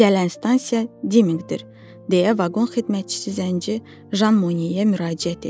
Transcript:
Gələn stansiya Dimingdir, deyə vaqon xidmətçisi Zənci Jan Moyeyə müraciət etdi.